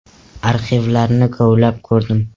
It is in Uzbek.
Arxivlarni kovlab ko‘rdim.